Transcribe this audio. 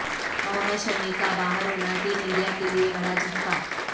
محمد شمی کا باہر ہونا ٹیم انڈیا کے لئے بڑا جھٹکا